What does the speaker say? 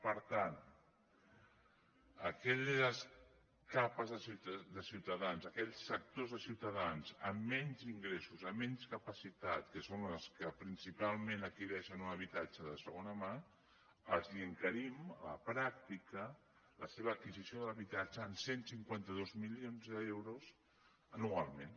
per tant a aquelles capes de ciutadans a aquells sectors de ciutadans amb menys ingressos amb menys capacitat que són les que principalment adquireixen un habitatge de segona mà els encarim a la pràctica la seva adquisició de l’habitatge en cent i cinquanta dos milions d’euros anualment